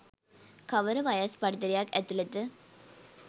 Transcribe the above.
කවර වයස් පරතරයක් ඇතුළත